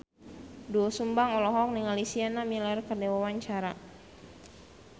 Doel Sumbang olohok ningali Sienna Miller keur diwawancara